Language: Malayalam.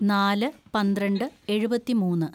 നാല് പന്ത്രണ്ട് എഴുപത്തിമൂന്ന്‌